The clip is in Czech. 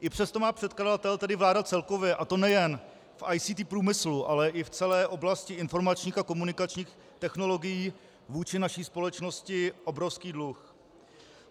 I přesto má předkladatel, tedy vláda, celkově, a to nejen v ICT průmyslu, ale i v celé oblasti informačních a komunikačních technologií, vůči naší společnosti obrovský dluh.